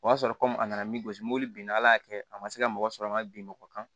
O y'a sɔrɔ a nana min gosi mobili bin ala y'a kɛ a ma se ka mɔgɔ sɔrɔ n ka bin mɔgɔ kan